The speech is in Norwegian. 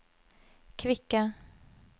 kvikke